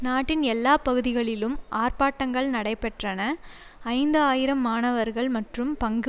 நாட்டின் எல்லா பகுதிகளிலும் ஆர்ப்பாட்டங்கள் நடைபெற்றன ஐந்து ஆயிரம் மாணவர்கள் மற்றும் பங்கு